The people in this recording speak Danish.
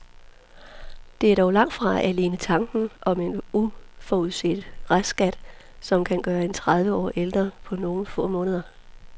Det er dog langt fra alene tanken om en uforudset restskat, som kan gøre en tredive år ældre på nogle få måneder.